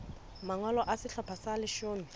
mangolo a sehlopha sa leshome